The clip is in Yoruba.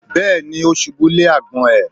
Bẹ́ẹ̀ni. Ó ṣubú lé àgbọ̀n ẹ̀.